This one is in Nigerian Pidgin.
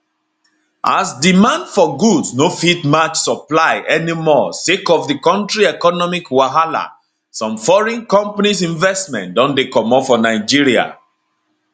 as demand for goods no fit match supply anymore sake of di current economic wahala some foreign companies investment don dey comot for nigeria